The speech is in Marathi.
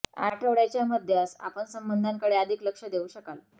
आठवड्याच्या मध्यास आपण संबंधांकडे अधिक लक्ष देऊ शकाल